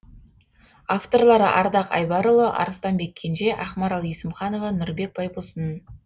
авторлары ардақ айбарұлы арыстанбек кенже ақмарал есімханова нұрбек байбосын